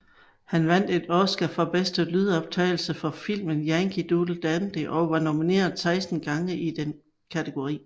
Han vandt en Oscar for bedste lydoptagelse for filmen Yankee Doodle Dandy og var nomineret 16 gange i den kategori